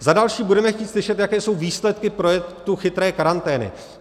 Za další budeme chtít slyšet, jaké jsou výsledky projektu chytré karantény.